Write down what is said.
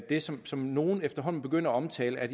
det som som nogle efterhånden begynder at omtale at